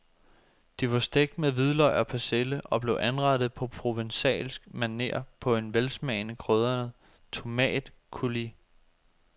De var stegt med hvidløg og persille og blev anrettet på provencalsk maner på en velsmagende krydret tomatcoulis.